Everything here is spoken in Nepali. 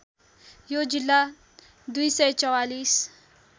यो जिल्ला २४४